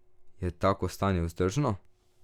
Je tako stanje vzdržno?